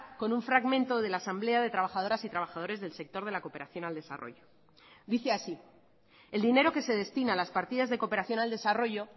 con un fragmento de la asamblea de trabajadoras y trabajadores del sector de la cooperación al desarrollo dice así el dinero que se destina a las partidas de cooperación al desarrollo